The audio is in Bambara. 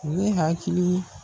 O ye hakili